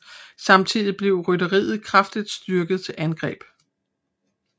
Samtidig blev rytteriet kraftigt styrket til angreb